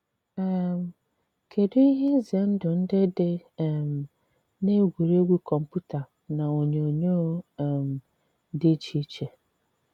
um Kedụ ihe ize ndụ ndị dị um n’egwuregwu kọmputa na onyonyo um dị iche iche?